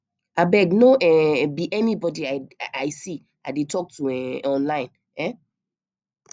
abeg no um be anybody i see i dey talk to um online um